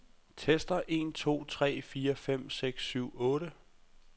Tester en to tre fire fem seks syv otte.